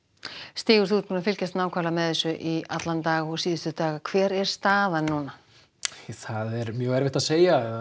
stígur þú hefur fylgst með þessu í allan dag dag hver er staðan núna það er erfitt að segja